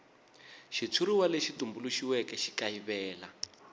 xitshuriwa lexi tumbuluxiweke xi kayivela